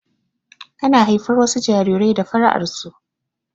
Ana haifar wasu jarirai da fara'ar su